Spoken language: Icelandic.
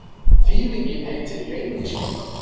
Þýðingin heitir Leyniskyttan.